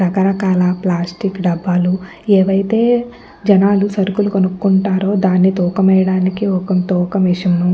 రకరకాల ప్లాస్టిక్ దబ్బలు ఏవైతే జనాలు సరుకులు కొనుకకుంటారో దాని తూకం వేయడానికి ఒక తూకం మెషిన్ --